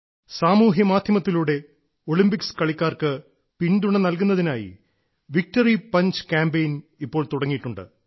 സാമൂഹ്യ മാധ്യമത്തിലൂടെ ഒളിമ്പിക്സ് കളിക്കാർക്ക് പിന്തുണ നൽകുന്നതിനായി വിക്ടറി പഞ്ച് ക്യാമ്പയിൻ ഇപ്പോൾ തുടങ്ങിയിട്ടുണ്ട്